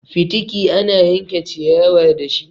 Fitiki ana yanke ciyawa dashi.